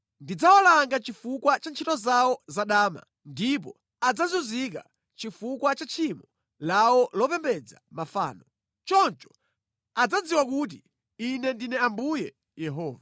Ndidzawalanga chifukwa cha ntchito zawo za dama ndipo adzazunzika chifukwa cha tchimo lawo lopembedza mafano. Choncho adzadziwa kuti Ine ndine Ambuye Yehova.”